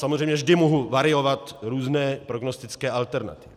Samozřejmě vždy mohu variovat různé prognostické alternativy.